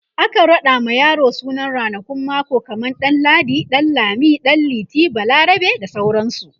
akan raɗa ma yaro sunan ranakun mako kaman ɗan ladi, ɗan lami, ɗan liti, balarabe, bda sauransu